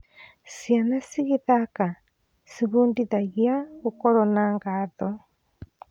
Ciana cigĩthaka, ciĩbundithagia gũkorwo na ngatho.